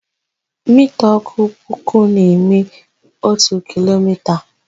Mita ótù puku na-eme ótù kilomita.